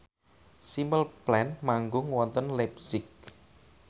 Simple Plan manggung wonten leipzig